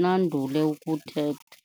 nandule ukuthetha.